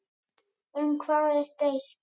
Um hvað er deilt?